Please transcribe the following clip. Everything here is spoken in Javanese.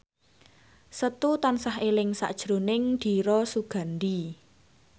Setu tansah eling sakjroning Dira Sugandi